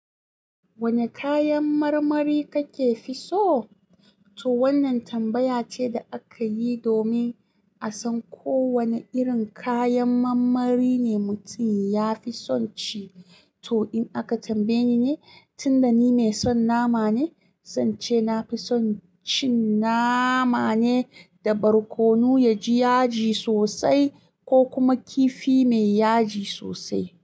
Wane kayan marmari kake fi so? To wannan tambaya ce da aka yi domin a san ko wane irin kayan marmari ne mutum ya fi son ci. To in aka tambaye ni ne, tunda ni mai son nama ne, sance na fi son cin nama ne da barkono ya ji yaji sosai ko kuma kifi mai yaji sosai.